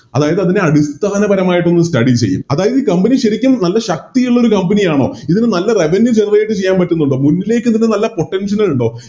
അതായത് അതിനെ അടിസ്ഥാനപരമായിട്ടോന്ന് Study ചെയ്യും അതായത് ഈ Company ശെരിക്കും നല്ല ശക്തിയുള്ളൊരു Company ആണോ ഇതിന് നല്ലൊരു Revenue generate ആയിട്ട് ചെയ്യാൻ പറ്റുന്നുണ്ടോ മുന്നിലേക്ക് ഇതിനു നല്ല Potential കളുണ്ടോ